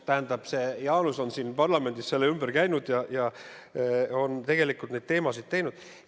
Tähendab, Jaanus on siin parlamendis selle ümber käinud ja on tegelikult neid teemasid arendanud.